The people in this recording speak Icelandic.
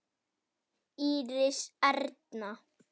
Íris Erna.